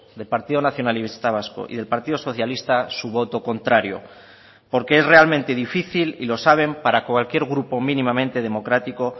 del partido nacionalista vasco y del partido socialista su voto contrario porque es realmente difícil y lo saben para cualquier grupo mínimamente democrático